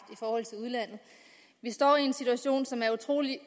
i står i en situation som er utrolig